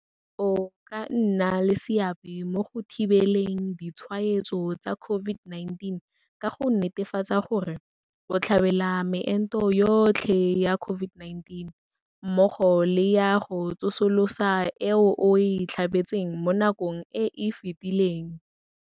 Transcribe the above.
O ka nna le seabe mo go thibeleng ditshwaetso tsa COVID-19 ka go netefatsa gore, o tlhabela meento yotlhe ya COVID-19 mmogo le ya go tsosolosa e o e tlhabetseng mo nakong e e fetileng.